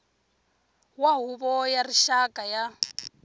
wa huvo ya rixaka ya